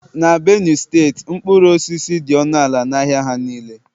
na Benue steeti mkpụrụ osisi dị ọnụ ala n'ahịa ha niile